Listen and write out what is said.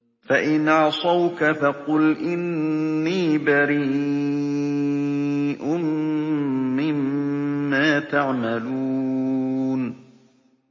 فَإِنْ عَصَوْكَ فَقُلْ إِنِّي بَرِيءٌ مِّمَّا تَعْمَلُونَ